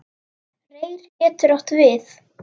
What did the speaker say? Reyr getur átt við